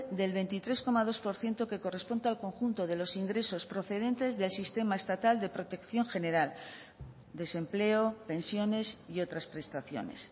del veintitrés coma dos por ciento que corresponde al conjunto de los ingresos procedentes del sistema estatal de protección general desempleo pensiones y otras prestaciones